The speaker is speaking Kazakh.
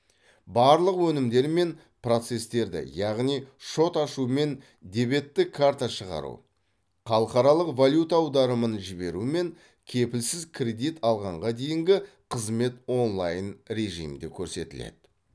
барлық өнімдері мен процестерді яғни шот ашу мен дебеттік карта шығару халықаралық валюта аударымын жіберу мен кепілсіз кредит алғанға дейінгі қызмет онлайн режимде көрсетіледі